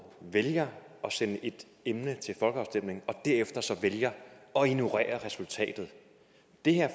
vælger at sende et emne til folkeafstemning og derefter så vælger at ignorere resultatet det her